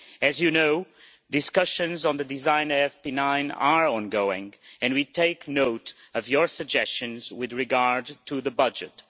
As you know, discussions on the design of FP9 are ongoing, and we take note of your suggestions with regard to the budget.